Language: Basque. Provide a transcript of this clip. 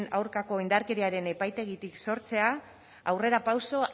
aurkako indarkeriaren epaitegitik sortzea aurrerapauso